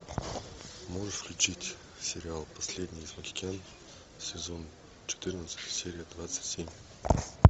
можешь включить сериал последний из магикян сезон четырнадцать серия двадцать семь